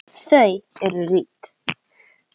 Þau eru rík.